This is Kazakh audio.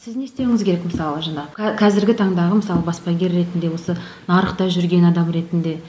сіз не істеуіңіз керек мысалы жаңа қазіргі таңдағы мысалы баспагер ретінде осы нарықта жүрген адам ретінде